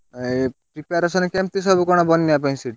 ଏଇ preparation କେମିତି ସବୁ କଣ ବନ୍ୟା ପାଇଁ ସେଠି?